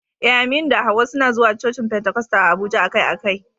Eh, Aminu da Hawwa suna zuwa cocin Pentecostal a Abuja akai-akai.